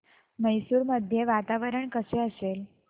मैसूर मध्ये वातावरण कसे असेल